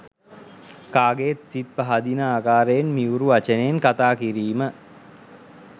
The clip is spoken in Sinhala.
කාගේත් සිත් පහදින ආකාරයෙන් මියුරු වචනයෙන් කතා කිරීම,